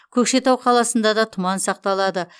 көкшетау қаласында да тұман сақталады